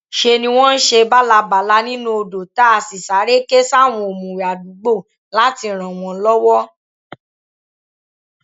ṣe ni wọn ń ṣe bálábàlà nínú odò tá a sì sáré ké sáwọn òmùwé àdúgbò láti ràn wọn lọwọ